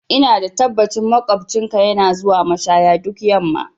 Ina da tabbacin maƙocinka yana zuwa mashaya duk yamma